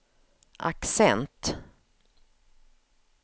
accent